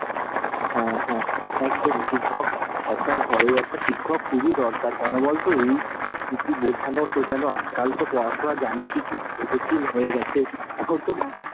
হ্যাঁ হ্যাঁ, একদমই। শিক্ষক, একদম ঘরের একটা শিক্ষক খুবই দরকার কেন বল তো, এই কিছু বোঝানো টোঝানো আজ কাল তো পড়াশুনো জানিসই কি কত কঠিন হয়ে গেছে, এখন তো,